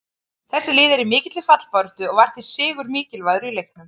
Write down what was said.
Þessi lið eru í mikilli fallbaráttu og var því sigur mikilvægur í leiknum.